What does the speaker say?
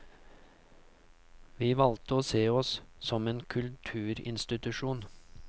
Vi valgte å se oss som en kulturinstitusjon.